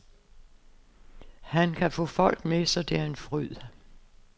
Han kan få folk med, så det er en fryd.